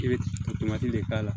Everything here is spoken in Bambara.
I bɛ de k'a la